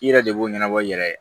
I yɛrɛ de b'o ɲɛnabɔ i yɛrɛ ye